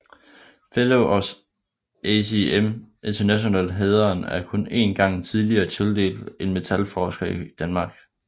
Fellow of ASM International hæderen er kun én gang tidligere tildelt en metalforsker i Danmark